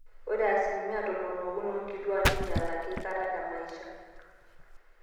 ore asilimia tomon ookuni oonkituaak neinyalaki aikata temaisha